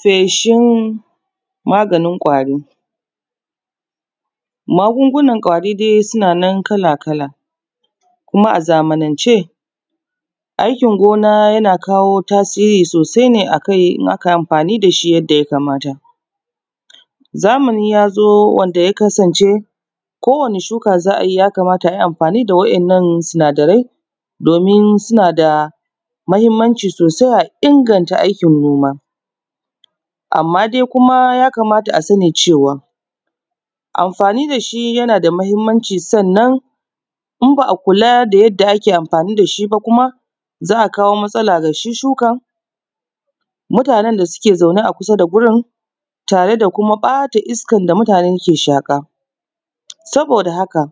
Feshin maganin kwari. Magungunan kwari dai suna nan kala-kala kuma a zamanan ce, aikin gona yana kawo tasiri sosai ne ake amfani da shi yadda ya kamata zamani ya zo wanda ya kasance ko wani shuka da za a yi ya kamata a yi amfani da waɗannan sinadarai domin suna da mahinmanci sosai, a inganta aikin noma amma dai kuma ya kamata a sani cewa amfani da shi yana da mahinmanci. Sannan in ba a kula da yadda ake amfani da shi ba kuma za a kawo matsala da shi, shukan mutanen da suke zaune a kusa da wurin tare da kuma ɓata iskan da mutane ke shaƙa, saboda haka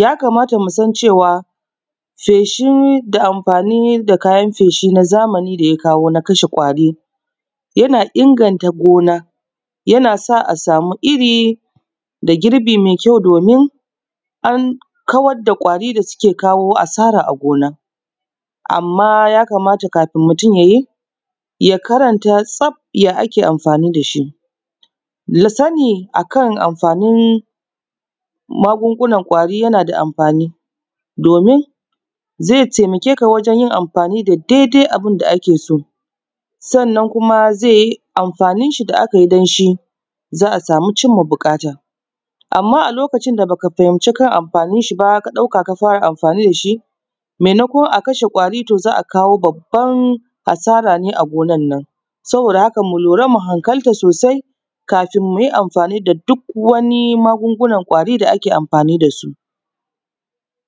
ya kamata musan cewa feshi da amfani da kayan feshi na zamani da ya kawo na kashe kwari yana inganta gona, yana sa asa mu iri dan girbi me kyau domin an kawar da kwari da suke kawo asara a gona. Amma ya kamata kafun mutum ya karanta tsaf ya ake amfani da shi ya sani akan amfanin magungunan kwari yana da amfani domin ze taimake ka wajen yin amfani da daidai abun da ake so, sannan kuma ze yi amfanin shi da aka yi don shi za a samun cinma buƙata, amma a lokacin da ba ka fahinci amfanin shi ba, ka ɗauka ka fara amfani da shi maimakon a kashe kwari to za a kawo babban asara ne a gonan nan, saboda haka mu lura mu hankalta sosai kafin mu yi amfani da duk wani magungunan kwari da ake amfani da su.